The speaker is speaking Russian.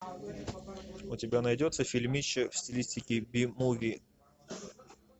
у тебя найдется фильмище в стилистике би муви